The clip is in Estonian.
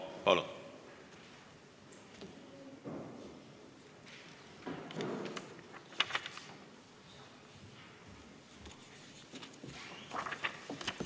Palun!